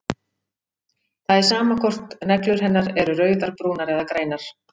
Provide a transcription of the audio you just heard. Það er sama hvort neglur hennar eru rauðar, brúnar eða grænar.